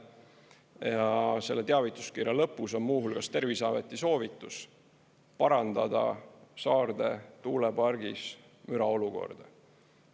Ja selle teavituskirja lõpus on muu hulgas Terviseameti soovitus parandada Saarde tuulepargis müraolukorda.